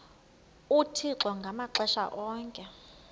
uthixo ngamaxesha onke